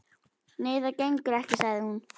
Nei, það gengur ekki, sagði hún.